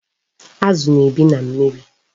Azu na-ebi na mmiri